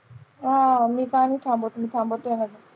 अं मी का नाही थांबवत मी